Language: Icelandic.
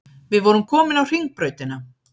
Við vorum komin á Hringbrautina.